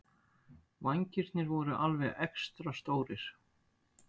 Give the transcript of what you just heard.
Vængirnir voru alveg extra stórir.